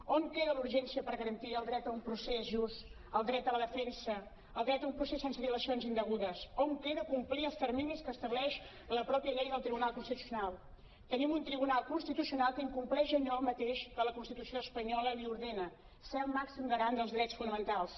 on queda la urgència per garantir el dret a un procés just el dret a la defensa el dret a un procés sense dilacions indegudes on queda complir els terminis que estableix la mateixa llei del tribunal constitucional tenim un tribunal constitucional que incompleix allò mateix que la constitu·ció espanyola li ordena ser el màxim garant dels drets fonamentals